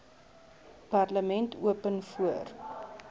parlement open voor